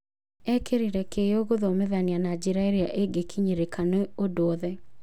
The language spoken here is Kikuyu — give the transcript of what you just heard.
Ekĩrĩire kĩyo gũthomethania na njĩra ĩrĩa ĩngĩkinyĩrĩka nĩ ũndũ othe.